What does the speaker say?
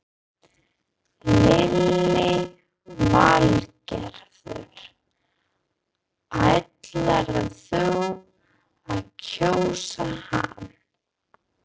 Lillý Valgerður: Ætlarðu að kjósa hann?